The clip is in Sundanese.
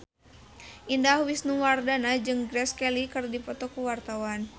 Indah Wisnuwardana jeung Grace Kelly keur dipoto ku wartawan